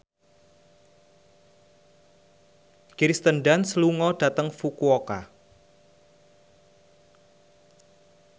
Kirsten Dunst lunga dhateng Fukuoka